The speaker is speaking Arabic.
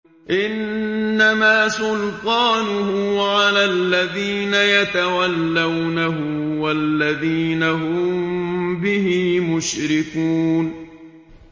إِنَّمَا سُلْطَانُهُ عَلَى الَّذِينَ يَتَوَلَّوْنَهُ وَالَّذِينَ هُم بِهِ مُشْرِكُونَ